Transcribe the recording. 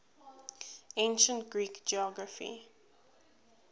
ancient greek geography